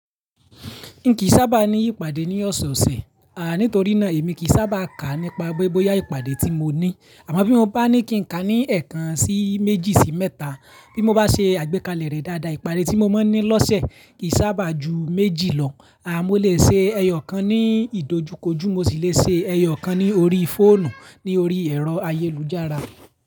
N kìí sábà ní ìpàdé ní ọ̀sẹ̀ ọ̀sẹ̀, à nítorí náà èmi kìí sábà kà nípa pe bóyá ìpàdé tí mo ní. Àmọ́ bí mo bá ní kí n kà ní ẹ̀ẹ̀kan sí méjì sí mẹ́ta, bí mo bá ṣe àgbékalẹ̀ rẹ̀ dáadáa ìpàdé tí mo máa ń ní lọ́sẹ̀ kìí sábà ju méjì lọ. À mó lè ṣe ẹyọ kan ní ìdojúkojú mo sì lè ṣe ẹyọ kan ní orí fóònù ní orí ẹ̀rọ ayélujára.